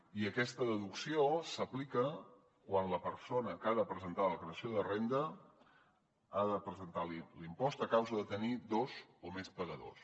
i aquesta deducció s’aplica quan la persona que ha de presentar la declaració de la renda ha de presentar l’impost a causa de tenir dos o més pagadors